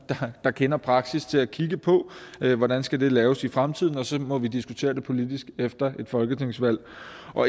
der kender praksis til at kigge på hvordan skal laves i fremtiden og så må vi diskutere det politisk efter et folketingsvalg